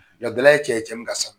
jagɛlɛya ye cɛ ye cɛ min